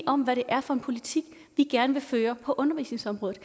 om hvad det er for en politik vi gerne vil føre på undervisningsområdet